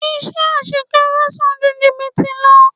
Iṣẹ́ àṣekára san ju jìbìtì lọ.